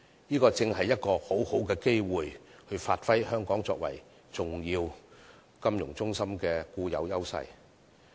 這正是一個很好的機會以發揮香港作為重要金融中心的固有優勢。